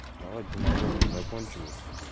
давай демагогию закончим вот